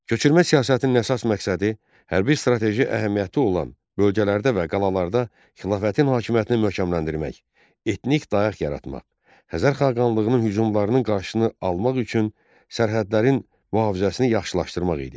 Köçürmə siyasətinin əsas məqsədi hərbi strateji əhəmiyyəti olan bölgələrdə və qalalarda xilafətin hakimiyyətini möhkəmləndirmək, etnik dayaq yaratmaq, Xəzər xaqanlığının hücumlarının qarşısını almaq üçün sərhədlərin mühafizəsini yaxşılaşdırmaq idi.